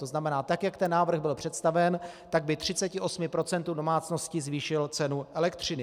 To znamená, tak jak ten návrh byl představen, tak by 38 % domácností zvýšil cenu elektřiny.